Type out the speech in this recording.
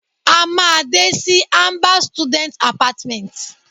A maa de si amber students apartments